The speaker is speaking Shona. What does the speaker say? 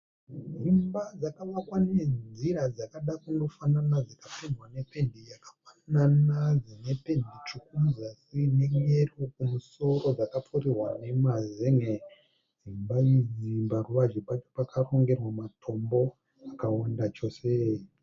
Dzimba dzakavakwa nenzira dzakada kundofanana dzakapendwa nependi yakafanana dzine pendi tsvuku muzasi neyero kumusoro dzakapfirirwa nemazenge, dzimba idzi paruvazhe pacho pakarongerwa matombo akawanda chose.